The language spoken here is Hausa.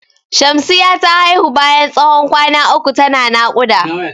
Shamsiya ta haihu bayan tsawon kwana uku ta na naƙuda.